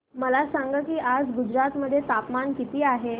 मला सांगा की आज गुजरात मध्ये तापमान किता आहे